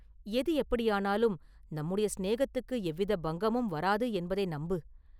எது எப்படியானாலும் நம்முடைய சிநேகத்துக்கு எவ்வித பங்கமும் வராது என்பதை நம்பு.